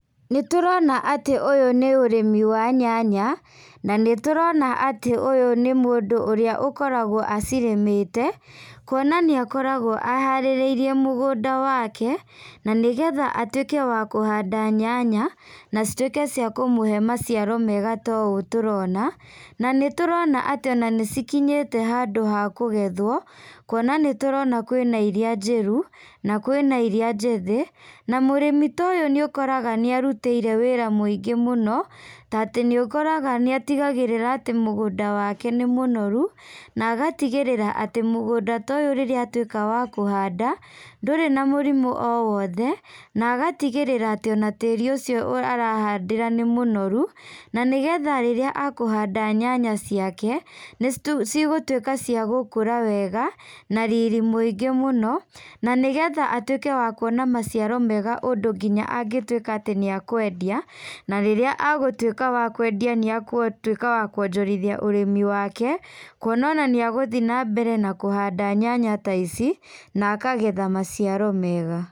Nĩtũrona atĩ ũyũ nĩ ũrĩmi wa nyanya, na nĩtũrona atĩ ũyũ nĩ mũndũ ũrĩa ũkoragwo acirĩmĩte, kuonanĩakoragwo aharĩrirĩirie mũgũnda wake, na nĩgetha atuĩke wa kũhanda nyanya, na cituĩke cia kũmũhe maciaro mega ta ũũ tũrona, na nĩtũrona atĩ ona nĩcikinyite handũ ha kũgethwo, kuona nĩ tũrona kwĩna iria njĩru, na kwĩna iria njĩthĩ, na mũrimi ta ũyũ nĩ ũkoraga nĩarutĩire wĩra mũingĩ mũno, ta atĩ nĩũkoraga nĩatigagĩrĩra atĩ mũgũnda wake nĩ mũnoru, na agatigĩrĩra atĩ mũgũnda ta ũyũ rĩrĩa atuĩka wa kũhanda, ndũrĩ na mũrimũ o wothe, na agatigĩrĩra atĩ ona tĩri ũcio arahandĩra nĩ mũnoru, na nĩgetha rĩrĩa akũhanda nyanya ciake, nĩci cigũtuĩka cia gũkũra wega, na riri mũingĩ mũno, na nĩgetha atuĩke wa kuona maciaro mega ũndũ nginya angĩtuĩka atĩ nĩakwendia, na rĩrĩa agũtuĩka wa kwendia nĩagũtuĩka wa kuonjorithia ũrĩmi wake, kuona ona nĩagũthiĩ nambere na kũhanda nyanya ta ici, na akagetha maciaro mega.